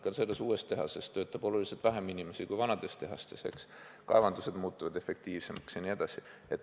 Ka selles uues tehases töötab oluliselt vähem inimesi kui vanades tehastes, kaevandused muutuvad efektiivsemaks jne.